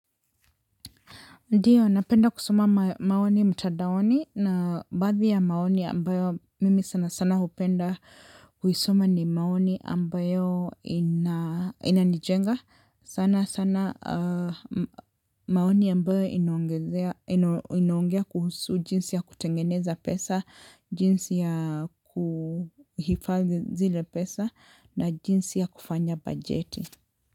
Ndiyo, napenda kusoma maoni mtandaoni na baadhi ya maoni ambayo mimi sana sana hupenda kuisoma ni maoni ambayo inanijenga. Sana sana maoni ambayo inaongezea, inaongea kuhusu jinsi ya kutengeneza pesa, jinsi ya kuhifadhi zile pesa na jinsi ya kufanya bajeti.